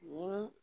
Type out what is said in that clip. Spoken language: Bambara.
Ni